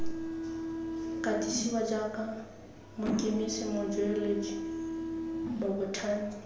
katisiwa jaaka mokemise mojeoloji mobothani